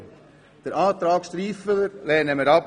Den Antrag Striffeler lehnen wir ab.